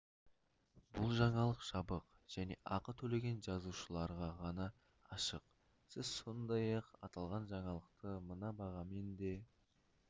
бұл жаңалық жабық және ақы төлеген жазылушыларға ғана ашық сіз сондай-ақ аталған жаңалықты мына бағамен де